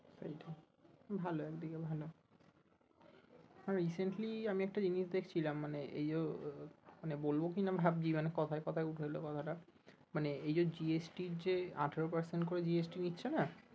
সেইটাই ভালো একদিকে ভালো আর recently আমি একটা জিনিস দেখছিলাম মানে এইযো মানে বলবো কি না ভাবছি মানে কথায় কথায় উঠে আসলো কথাটা মানে এই যো GST এর যে আঠেরো percent করে GST নিচ্ছে না?